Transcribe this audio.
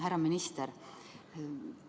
Härra minister!